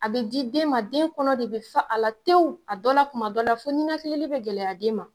A bɛ di den ma, den kɔnɔ de bɛ fa a la tewu, a dɔ la tuma dɔ la fɔ niinakili bɛ gɛlɛya den ma.